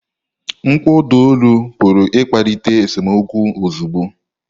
Mkpọ ụda olu pụrụ ịkpalite esemokwu ozugbo.